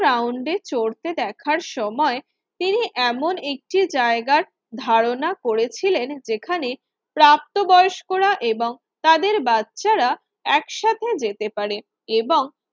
রাউন্ডে চড়তে দেখার সময় তিনি এমন একটি জায়গার ধারণা করেছিলেন। যেখানে প্রাপ্তবয়স্করা এবং তাদের বাচ্চারা একসাথে যেতে পারে এবং